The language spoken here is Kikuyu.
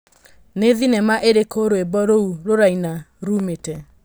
nĩ thinema ĩrĩkũ rwĩmbo rũu rũraina ruumĩte